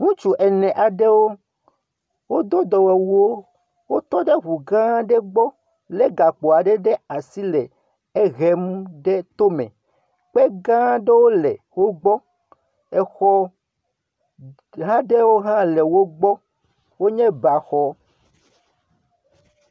Ŋutsu ene aɖewo, wodo dɔwɔwuwo, wotɔ ɖe ŋugã aɖe gbɔ lé gakpo ɖe asi le ehem ɖe tome, kpe gã aɖewo le wo gbɔ, exɔ g… hã ɖewo le wo gbɔ, wonye baxɔ.